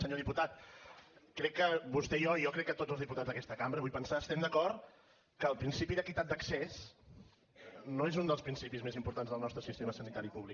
senyor diputat crec que vostè i jo i jo crec que tots els diputats d’aquesta cambra vull pensar estem d’acord que el principi d’equitat d’accés no és un dels principis més importants del nostre sistema sanitari públic